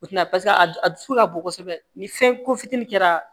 O tɛna a dusu a dusu ka bon kosɛbɛ ni fɛn ko fitinin kɛra